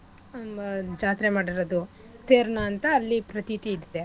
ಆಹ್ ಮ ಜಾತ್ರೆ ಮಾಡಿರದು ತೇರ್ನ ಅಂತ ಅಲ್ಲಿ ಪ್ರತೀತಿ ಇದೆ.